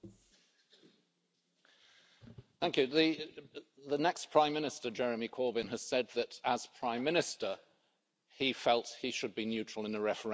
The next prime minister, Jeremy Corbyn, has said that, as prime minister, he felt he should be neutral in the referendum to apply whatever the outcome the British people decide.